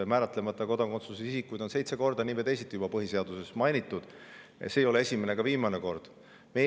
Määratlemata kodakondsusega isikuid on nii või teisiti juba seitse korda põhiseaduses mainitud, see ei ole esimene ega viimane kord.